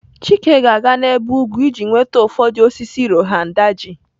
Chike ga-aga n'ebe ugwu iji nweta ụfọdụ osisi Rohan Daji.